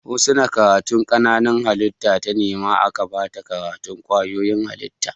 Husna karatun Kananan halittu ta nema aka bata karatun kwayoyin halitta